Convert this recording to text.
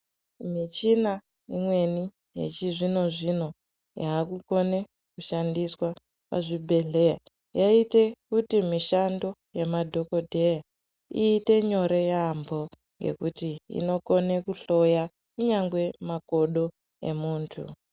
Michina imweni yechizvino-zvino yaakukone kushandiswa pazvibhehleya yaite kuti mishando yemadhogodheya iite nyore yaambo ngekuti inokone kuhloya kunyangwe makodo emuntu.